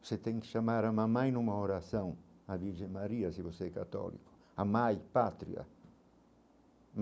Você tem que chamar a mamãe numa oração, a Virgem Maria, se você é católico, a mãe, a pátria.